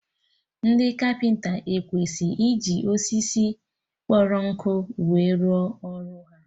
Ndị kapịnta ekwesị iji osisi kpọrọ akpọ we rụọ ọrụ ha